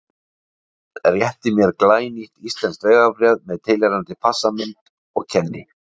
Hann réttir mér glænýtt íslenskt vegabréf með tilheyrandi passamynd og kenni